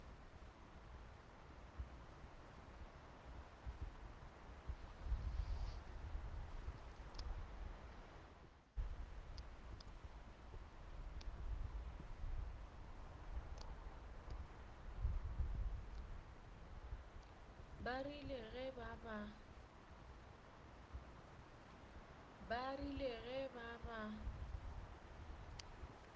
ba rile ge ba ba